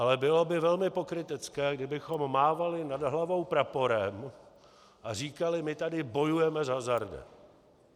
Ale bylo by velmi pokrytecké, kdybychom mávali nad hlavou praporem a říkali my tady bojujeme s hazardem.